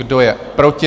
Kdo je proti?